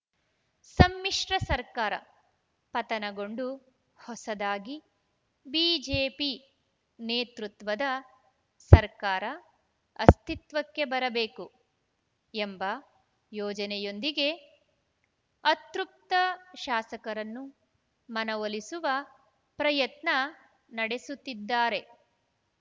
ಸಮ್ಮಿಶ್ರ ಸರ್ಕಾರ ಪತನಗೊಂಡು ಹೊಸದಾಗಿ ಬಿಜೆಪಿ ನೇತೃತ್ವದ ಸರ್ಕಾರ ಅಸ್ತಿತ್ವಕ್ಕೆ ಬರಬೇಕು ಎಂಬ ಯೋಜನೆಯೊಂದಿಗೆ ಅತೃಪ್ತ ಶಾಸಕರನ್ನು ಮನವೊಲಿಸುವ ಪ್ರಯತ್ನ ನಡೆಸುತ್ತಿದ್ದಾರೆ